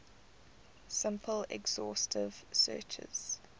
simple exhaustive searches